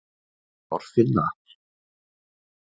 Þorfinna